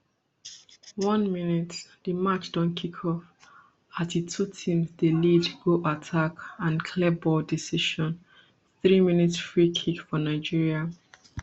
one mins di match don kick off as di two teams dey lead go attack and clear ball decision threemins free kick for nigeria